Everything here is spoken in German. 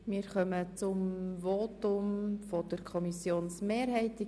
Wir kommen zum Votum der Kommissionsmehrheit.